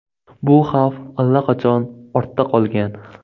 Bu xavf allaqachon ortda qolgan.